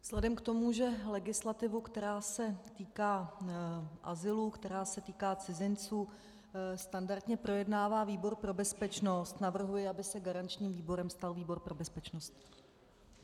Vzhledem k tomu, že legislativu, která se týká azylu, která se týká cizinců, standardně projednává výbor pro bezpečnost, navrhuji, aby se garančním výborem stal výbor pro bezpečnost.